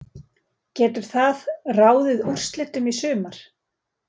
Getur það ráðið úrslitum í sumar?